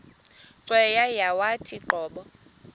cweya yawathi qobo